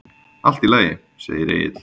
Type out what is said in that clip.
Allt í lagi, segir Egill.